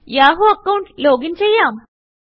Yahoo account loginചെയ്യാം